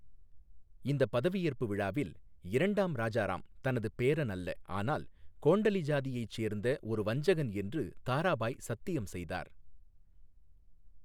இந்த பதவியேற்பு விழாவில், இரண்டாம் ராஜாராம் தனது பேரன் அல்ல, ஆனால் கோண்டலி சாதியைச் சேர்ந்த ஒரு வஞ்சகன் என்று தாராபாய் சத்தியம் செய்தார்.